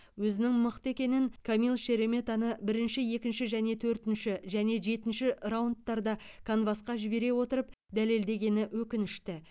өзінің мықты екенін камил шереметаны бірінші екінші және төртінші және жетінші раундтарда канвасқа жібере отырып дәлелдегені өкінішті